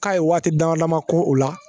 K'a ye waati dama dama ko o la